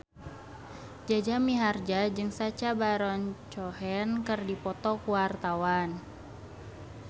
Jaja Mihardja jeung Sacha Baron Cohen keur dipoto ku wartawan